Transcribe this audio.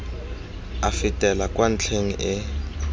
e fetela kwa ntlheng e